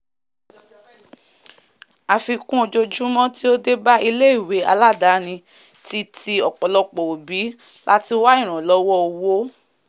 àfikún ojojúmọ́ tí ó débá ilé ìwé aládáni ti ti ọ̀pọlọ̀pọ̀ ọ̀bí láti wá ìrànlọ́wọ́ owó